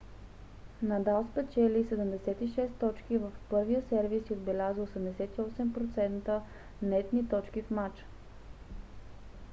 надал спечели 76 точки в първия сервис и отбеляза 88% нетни точки в мача